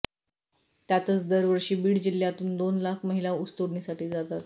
त्यातच दरवर्षी बीड जिल्हय़ातून दोन लाख महिला ऊसतोडणीसाठी जातात